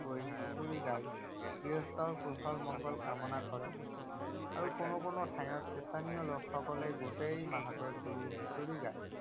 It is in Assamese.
হুঁচৰি গাই গৃহস্থৰ কুশল মংগল কামনা কৰে আৰু কোনো কোনো ঠাইত স্থানীয় লোকসকলে গোটেই মাহটো জুৰি হুঁচৰি গায়।